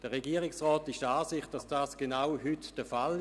Der Regierungsrat ist der Ansicht, dies sei bereits heute der Fall.